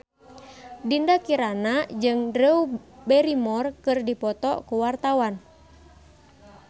Dinda Kirana jeung Drew Barrymore keur dipoto ku wartawan